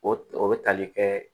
O o bɛ tali kɛ